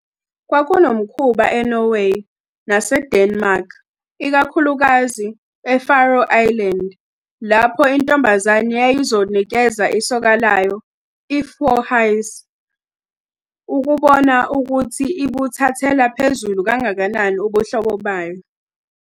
Kwakunomkhuba eNorway naseDenmark, ikakhulukazi e-Faroe Islands, lapho intombazane yayizonikeza isoka layo i- "forhyse" ukubona ukuthi ibuthathela phezulu kangakanani ubuhlobo bayo.